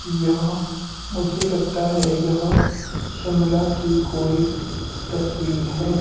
यह मुझे लगता है यह शिमला की कोई तस्वीर है।